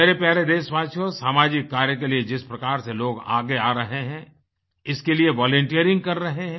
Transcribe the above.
मेरे प्यारे देशवासियो सामाजिक कार्य के लिए जिस प्रकार से लोग आगे आ रहे हैं इसके लिए वॉलंटियरिंग कर रहे हैं